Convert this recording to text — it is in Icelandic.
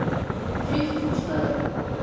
Frítt húsnæði.